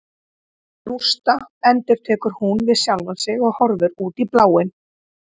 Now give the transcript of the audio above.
Rústa, endurtekur hún við sjálfa sig og horfir út í bláinn.